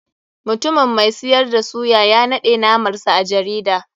Mutumin mai siyar da suyta ya naɗe namar sa a jarida.